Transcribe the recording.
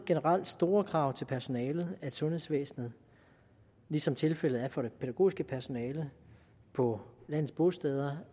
generelt store krav til personalet i sundhedsvæsenet ligesom tilfældet er for det pædagogiske personale på landets bosteder